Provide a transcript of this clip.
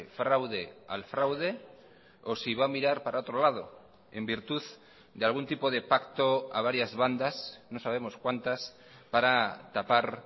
fraude al fraude o si va a mirar para otro lado en virtud de algún tipo de pacto a varias bandas no sabemos cuántas para tapar